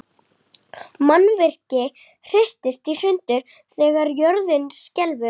Mannvirki hristast í sundur þegar jörð skelfur.